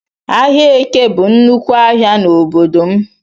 Ahịa Eke bụ nnúkwú ahịa n'obodo m